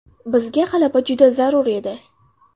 Bizga g‘alaba juda zarur edi.